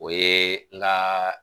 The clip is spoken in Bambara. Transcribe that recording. O ye n ka